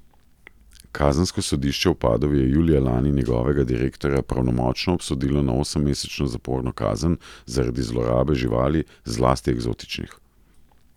Kazensko sodišče v Padovi je julija lani njegovega direktorja pravnomočno obsodilo na osemmesečno zaporno kazen zaradi zlorabe živali, zlasti eksotičnih.